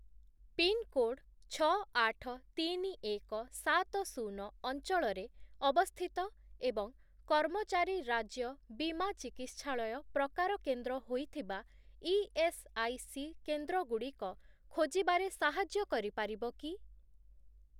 Pin code ଛଅ, ଆଠ, ତିନି, ଏକ, ସାତ, ଶୂନ ଅଞ୍ଚଳରେ ଅବସ୍ଥିତ ଏବଂ 'କର୍ମଚାରୀ ରାଜ୍ୟ ବୀମା ଚିକିତ୍ସାଳୟ' ପ୍ରକାର କେନ୍ଦ୍ର ହୋଇଥିବା ଇଏସ୍ଆଇସି କେନ୍ଦ୍ରଗୁଡ଼ିକ ଖୋଜିବାରେ ସାହାଯ୍ୟ କରିପାରିବ କି?